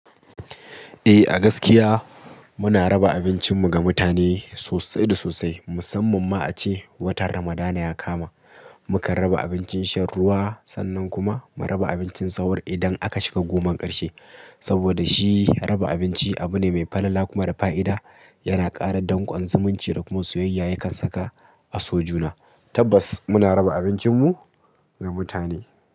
Eh, a gaskiya muna raba abincinmu ga mutane sosai da sosai. Musamman ma a ce watan Ramadana ya kama. Mukan raba abincin shan ruwa sannan kuma mu raba abincin sahur idan aka shiga goman ƙarshe. Saboda shi raba abinci abu ne mai falala kuma da fa'ida. Yana ƙara danƙon zumunci da kuma soyayya yakan saka a so juna. Tabbas muna raba abincinmu ga mutane.